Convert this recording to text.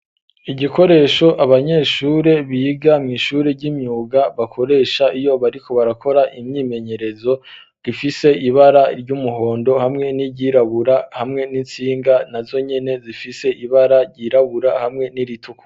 Igikoresho abanyeshure biga mw'ishuri ry'imyuga bakoresha iyo bariko barakora imyimenyerezo rifise ibara ry'umuhondo hamwe n'iryirabura hamwe n'intsinga na zonyene zifise ibara ryirabura hamwe n'iritukura.